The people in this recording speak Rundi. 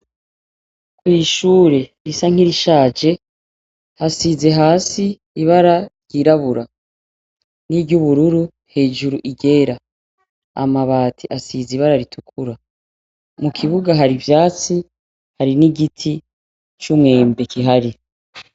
Iri shure risa n'irishaje hasize hasi ibara ryirabura n'iryubururu, hejuru iryera. Amabati asize ibara ritukura. Mu kibuga hari ivyatsi hari n'igiti c'umwembe gihari.